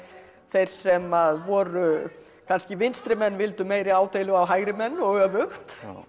þeir sem voru kannski vildu meiri ádeilu á hægrimenn og öfugt